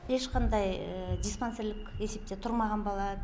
ешқандай диспансерлік есепте тұрмаған бала